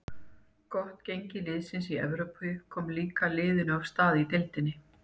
Gott gengi liðsins í Evrópu kom líka liðinu af stað í deildinni.